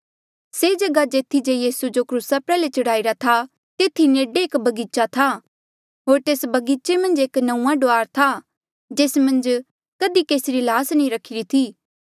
से जगहा जेथी जे यीसू जो क्रूसा प्रयाल्हे चढ़ाईरा था तेथी नेडे एक बगीचा था होर तेस बगीचे मन्झ एक नंऊँआं डुआर था जेस मन्झ कधी केसी री ल्हास नी रखिरी थी